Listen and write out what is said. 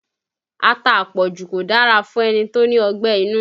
Ata àpọ̀jù kò dára fún ẹni tó ní ọgbẹ́ inú